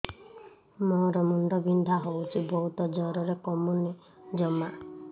ମୋର ମୁଣ୍ଡ ବିନ୍ଧା ହଉଛି ବହୁତ ଜୋରରେ କମୁନି ଜମା